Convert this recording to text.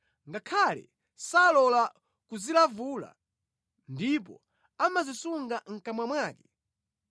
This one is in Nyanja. ngakhale salola kuzilavula, ndipo amazisunga mʼkamwa mwake,